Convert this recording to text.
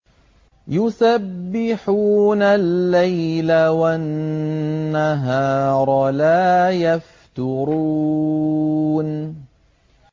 يُسَبِّحُونَ اللَّيْلَ وَالنَّهَارَ لَا يَفْتُرُونَ